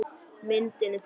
Myndin er tekin í Róm.